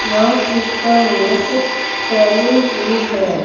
यह पिक्चर एक सैलून की है।